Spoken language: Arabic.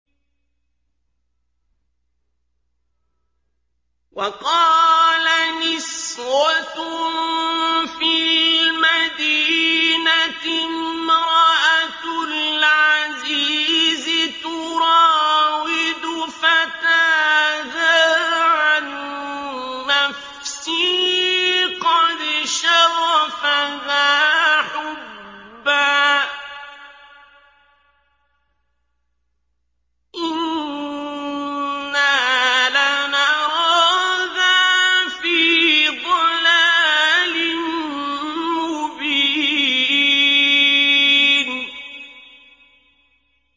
۞ وَقَالَ نِسْوَةٌ فِي الْمَدِينَةِ امْرَأَتُ الْعَزِيزِ تُرَاوِدُ فَتَاهَا عَن نَّفْسِهِ ۖ قَدْ شَغَفَهَا حُبًّا ۖ إِنَّا لَنَرَاهَا فِي ضَلَالٍ مُّبِينٍ